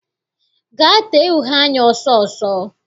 Gaa tee uhe anya ọsọ ọsọ!